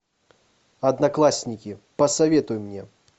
одноклассники посоветуй мне